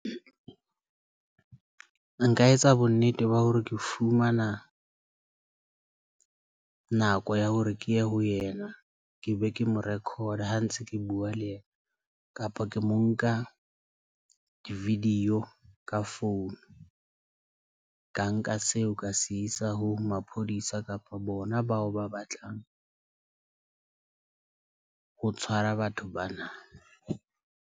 Nka etsa bonnete ba hore ke fumana nako ya hore ke ye ho yena, ke be ke mo record ha ntse ke bua le yena kapa ke mo nka video ka phone. Ka nka seo ka se isa ho maphodisa kapa bona bao ba batlang ho tshwara batho bana.